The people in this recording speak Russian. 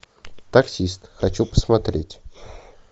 таксист хочу посмотреть